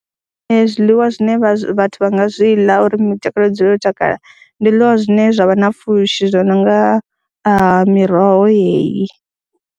Ee, zwiḽiwa zwine vhathu vha nga zwi ḽa uri mitakalo i dzule yo takala ndi zwiḽiwa zwine zwa vha na pfhushi zwo no nga miroho yeyi.